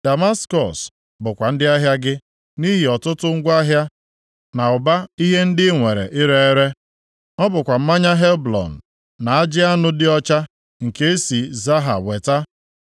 “ ‘Damaskọs bụkwa ndị ahịa gị, nʼihi ọtụtụ ngwa ahịa na ụba ihe ndị ị nwere ire ere. Ọ bụkwa mmanya si Helbon, na ajị anụ dị ọcha nke esi Zaha weta,